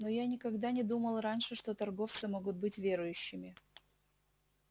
но я никогда не думал раньше что торговцы могут быть верующими